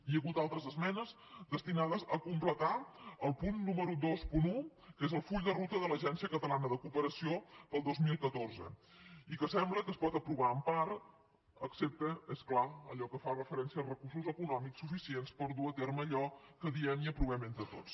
hi ha hagut altres esmenes destinades a completar el punt número vint un que és el full de ruta de l’agència catalana de cooperació per al dos mil catorze i que sembla que es pot aprovar en part excepte és clar allò que fa referència als recursos econòmics suficients per dur a terme allò que diem i aprovem entre tots